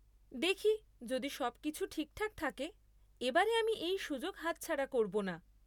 দেখি যদি সবকিছু ঠিকঠাক থাকে এবারে আমি এই সুযোগ হাত ছাড়া করব না।